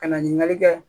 Ka na ɲininkali kɛ